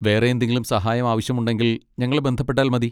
വേറെ എന്തെങ്കിലും സഹായം ആവശ്യമുണ്ടെങ്കിൽ ഞങ്ങളെ ബന്ധപ്പെട്ടാൽ മതി.